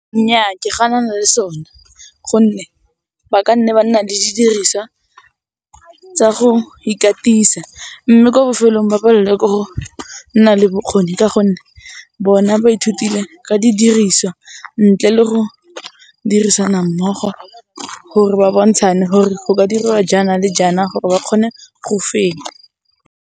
Nnyaa, ke ga nna le sone gonne ba ka nna ba nna le didiriswa tsa go ikatisa mme ko bofelong ba palelwe ke go nna le bokgoni ka gonne bona ba ithutile ka didiriswa ntle le go dirisana mmogo gore ba bontshane gore go ka diriwa jaana le jaana gore ba kgone go fenya.